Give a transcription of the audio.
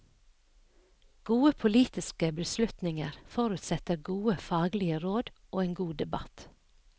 Gode politiske beslutninger forutsetter gode faglige råd og en god debatt.